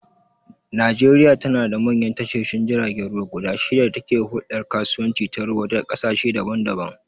Najeriya tanada manyan tashoshin jiragen ruwa guda shida da ke huldar kasuwanci ta ruwa da kasashe daban-daban